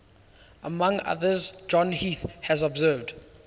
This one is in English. among others john heath has observed